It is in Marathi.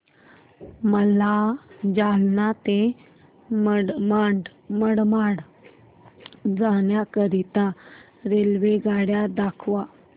मला जालना ते मनमाड जाण्याकरीता रेल्वेगाडी दाखवा